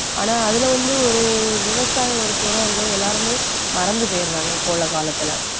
ஆனா அதுல வந்து ஒரு விவசாயம் ஒரு துறை இருக்குது எல்லாருமே மறந்து போயிடுறாங்க இப்ப உள்ள காலத்துல